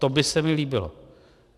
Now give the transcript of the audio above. To by se mi líbilo.